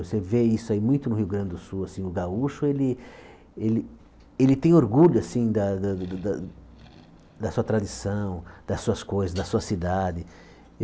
Você vê isso aí muito no Rio Grande do Sul, assim, o gaúcho, ele ele ele tem orgulho, assim, da da da da sua tradição, das suas coisas, da sua cidade.